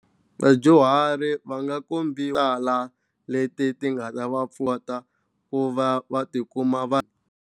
Vadyuhari va nga tala leti ti nga ta va pfuneta ku va va tikuma va.